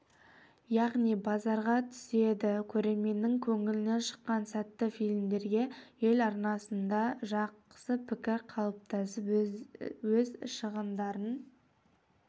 яғни базарға түседі көрерменнің көңілінен шыққан сәтті фильмдерге ел арасында жақсы пікір қалыптасып өз шығындарын